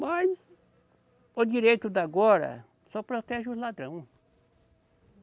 Mas o direito de agora só protege o ladrão.